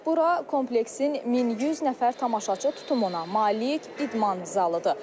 Bura kompleksin 1100 nəfər tamaşaçı tutumuna malik idman zalıdır.